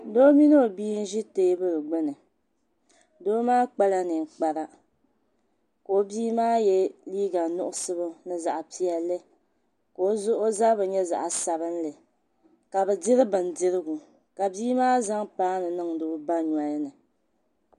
Doo mini o bia n ʒi teebuli gbuni doo maa kpala ninkpara ka o bia maa yɛ liiga nuɣso ni zaɣ piɛlli ka o zabiri nyɛ zaɣ sabinli ka bi diri bindirigu ka bia maa zaŋ paanu niŋdi o ba nolini